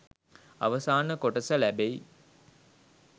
අවසාන කොටස ලැබෙයි